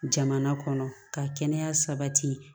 Jamana kɔnɔ ka kɛnɛya sabati